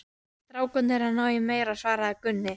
Strákarnir eru að ná í meira, svaraði Gunni.